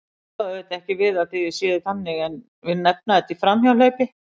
Ég á auðvitað ekki við að þið séuð þannig en vil nefna þetta í framhjáhlaupi.